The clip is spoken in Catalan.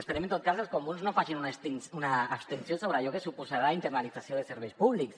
esperem en tot cas que els comuns no facin una abstenció sobre allò que suposarà internalització de serveis públics